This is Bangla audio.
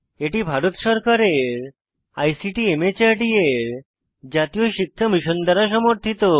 এটি ভারত সরকারের আইসিটি মাহর্দ এর জাতীয় শিক্ষা মিশন দ্বারা সমর্থিত